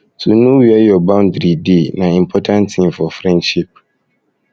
to know where your boundary dey um na important tin for um friendship